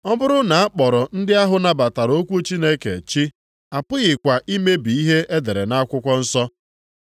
Ọ bụrụ na a kpọrọ ndị ahụ nabatara okwu Chineke ‘chi,’ apụghịkwa imebi ihe e dere nʼakwụkwọ nsọ.